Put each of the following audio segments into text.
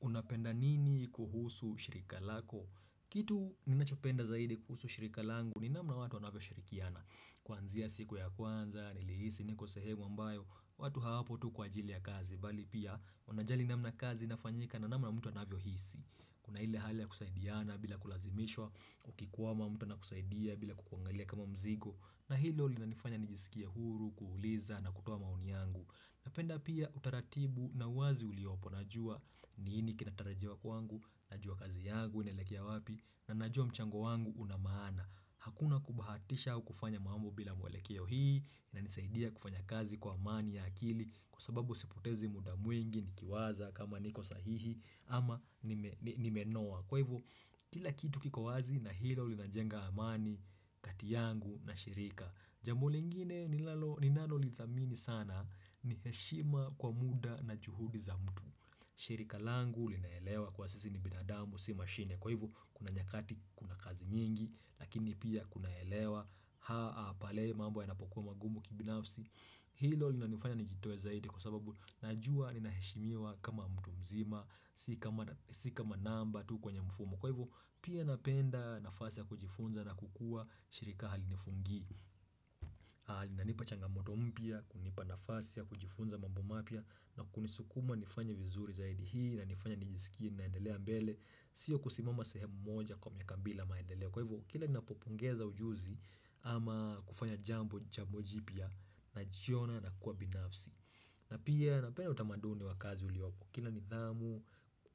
Unapenda nini kuhusu shirika lako? Kitu ninachopenda zaidi kuhusu shirika langu ni namna watu wanavyo shirikiana. Kwanzia siku ya kwanza, nilihisi, niko sehemu ambayo, watu hawapo tu kwa ajili ya kazi, bali pia wanajali namna kazi inafanyika na namna mtu anavyo hisi. Kuna ile hali ya kusaidiana bila kulazimishwa, ukikuwa mtua anakusaidia bila kukuangalia kama mzigo, na hilo li nanifanya nijisikia huru, kuuliza na kutoa maoni yangu. Napenda pia utaratibu na uwazi uliopo najua nini kinatarajiwa kwangu, najua kazi yangu, inelekea wapi, na najua mchango wangu unamaana. Hakuna kubahatisha kufanya maambo bila mwelekea yo hii, na inisaidia kufanya kazi kwa amani ya akili, kwa sababu siputezi muda mwingi, nikiwaza, kama niko sahihi, ama nimenoa. Kwa hivyo, kila kitu kikowazi na hilo linajenga amani, kati yangu na shirika Jambo lingine ninanolithamini sana ni heshima kwa muda na juhudi za mtu shirika langu ulinaelewa kuwa sisi ni binadamu, si mashine Kwa hivyo, kuna nyakati, kuna kazi nyingi, lakini pia kuna elewa Haa, pale, mambo yanapokuwa magumu kibinafsi Hilo linanifanya nijitoe zaidi kwa sababu najua ninaheshimiwa kama mtu mzima Sikama namba tu kwenye mfumo Kwa hivyo pia napenda nafasi ya kujifunza na kukua shirika halinifungi na linanipa changamoto mpya kunipa nafasi ya kujifunza mambo mapya na kunisukuma nifanya vizuri zaidi hii na nifanya nijisikie naendelea mbele Sio kusimama sehemu moja kwa miaka bila maendelea Kwa hivyo kila napopungeza ujuzi Ama kufanya jambo jipya Najiona nakuwa binafsi na pia napenda utamaduni wa kazi uliopo kina nidhamu,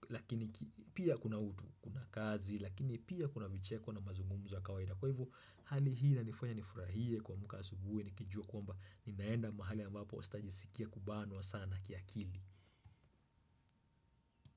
lakini pia kuna utu, kuna kazi, lakini pia kuna vicheko na mazungumzo ya kawaida. Kwa hivo, hali hii inanifanya nifurahie kuamka asubuhi, nikijua kuwamba ninaenda mahali ambapo sitaji sikia kubanwa sana kia kili.